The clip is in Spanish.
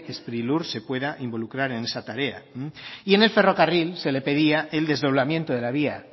sprilur se pueda involucrar en esa tarea y en el ferrocarril se le pedía el desdoblamiento de la vía